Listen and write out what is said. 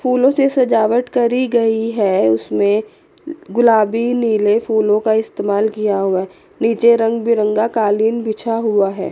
फूलों से सजावट करी गई है उसमें गुलाबी नीले फूलों का इस्तेमाल किया हुआ है नीचे रंग बिरंगा कालीन बिछा हुआ है।